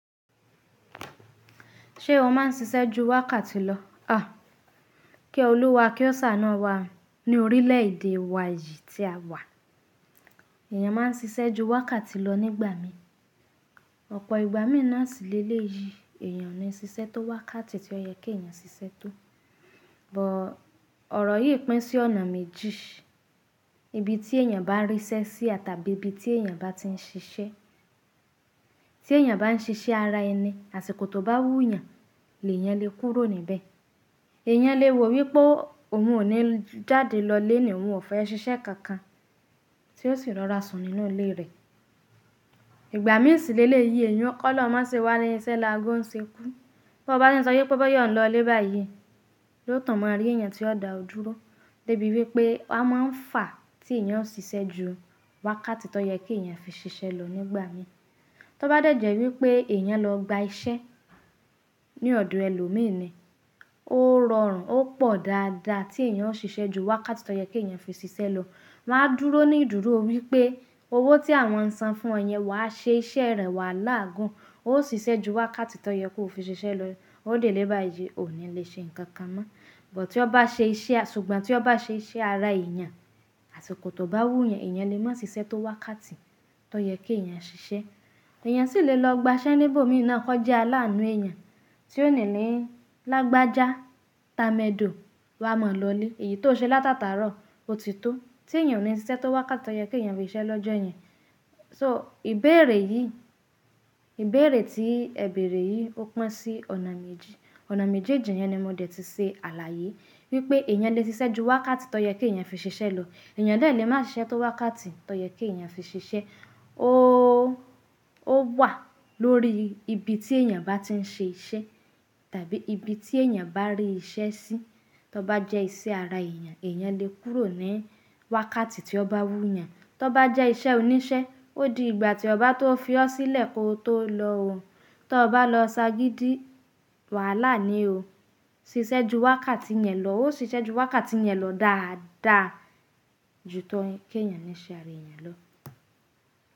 Ṣé ìwọ máà ń ṣiṣẹ́ ju wákàtì lọ? Kí Oluwa kí Ọ̀ ṣàánú wá. Ní orílẹ̀ èdè wa yìí tí a wà, èèyàn máa ń ṣiṣẹ́ ju wákàtì lọ nígbà mí. Ọ̀pọ̀ ìgbà mí nàsìle lè yi èèyàn ní ṣiṣẹ́ tó wákàtì tí ó yẹ kí èèyàn ṣiṣẹ́ tó. Ọ̀rọ̀ yìí pín sí ọ̀nà méjì, ibi tí èèyàn bá ríṣẹ́ sí àti tabi ibi tí èèyàn bá ti ń ṣiṣẹ́. Tí èèyàn bá ń ṣiṣẹ́ ara ẹni, àsìkò tó bá wú yàn, lèyàn le kúrò níbẹ̀. Èèyàn le wo wípé òun ò ní jáde lọ léèní òun ò fẹ́ ṣiṣẹ́ kankan tí ó sì rọra sùn nínú ilé rẹ̀. Ìgbà mí sìle lè yi èèyàn kọ́ lọ má ṣe wà níṣẹ́ lagún ṣe kú. Bí ó bá sọ wípé ó yọ̀n lọ lébàá yìí, yóò tàn mọ́ rí èèyàn tí ó dà ó dúró débi wípé a máa ń fà tí èèyàn ń ṣiṣẹ́ ju wákàtì tó yẹ kí èèyàn fi ṣiṣẹ́ lọ nígbà mí. Tóbá dẹ̀jẹ̀ wípé èèyàn lọ gba iṣẹ́ ní ọ̀dọ̀ ẹlòmíràn, ó rọrùn ó pọ̀ dáadáa tí èèyàn ó ṣiṣẹ́ ju wákàtì tó yẹ kí èèyàn fi ṣiṣẹ́ lọ. Wọn á dúró ní ìdúró wípé owó tí àwọn ń san fún ọ yẹn wàá ṣe iṣẹ́ rẹ̀ wà láàgun. Ó ṣiṣẹ́ ju wákàtì tó yẹ kó fi ṣiṣẹ́ lọ, ó délé bàá yìí, ò ní lè ṣe nǹkan kan mọ́. Ṣùgbọ́n tí ó bá ṣe iṣẹ́ ara èèyàn, àsìkò tó bá wú yàn, èèyàn lè má ṣiṣẹ́ tó wákàtì tó yẹ kí èèyàn ṣiṣẹ́. Èèyàn sì lè lọ gba iṣẹ́ níbò mí nàá kó jẹ́ alánú èèyàn tí ó nílẹ̀ lágbájá támẹ́dò wá mọ̀ lọlé. Èyí tó ṣe látàtarò ó ti tó. Tí èèyàn ní ṣiṣẹ́ tó wákàtì tó yẹ kí èèyàn fi ṣiṣẹ́ lọ́jọ́ yẹn. Ìbéèrè tí ẹ bèèrè yìí ó pín sí ọ̀nà méjì. Ọ̀nà méjì èjì yẹn ni mó dẹ̀ ti ṣe àlàyé wípé èèyàn lè ṣiṣẹ́ ju wákàtì tó yẹ kí èèyàn fi ṣiṣẹ́ lọ. Èèyàn lè má ṣiṣẹ́ tó wákàtì tó yẹ kí èèyàn fi ṣiṣẹ́. Ó wà lórí ibi tí èèyàn bá ti ń ṣe iṣẹ́ tàbí ibi tí èèyàn bá rí iṣẹ́ sí. Tóbá jẹ́ iṣẹ́ ara èèyàn, èèyàn lè kúrò ní wákàtì tí ó bá wú yàn. Tóbá jẹ́ iṣẹ́ oníṣẹ́, ó di ìgbà tí ó bá tó fi ọ́ sílẹ̀ kó tó lọ. Tó bá lọ ṣágídí, wàhálà ni o. Ṣiṣẹ́ ju wákàtì yẹn lọ, ó ṣiṣẹ́ ju wákàtì yẹn lọ dáadáa ju tó kí èèyàn ní ṣe ara èèyàn lọ.